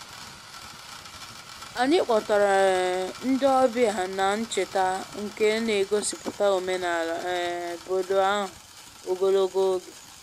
Anyị kpọtara um ndị ọbịa na ncheta nke na-egosipụta omenala um obodo ahụ ogologo oge